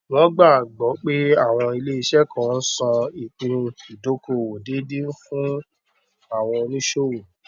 wọn gbà gbọ pé àwọn iléeṣẹ kan ń san ìpín ìdókòwò déédéé ń fún àwọn fún oníṣòwò